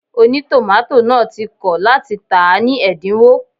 Ònítòmátò náà ti kọ̀ láti tàá ní ẹ̀dínwó